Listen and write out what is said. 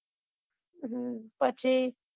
હમ પછી